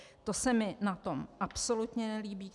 To se mi na tom absolutně nelíbí.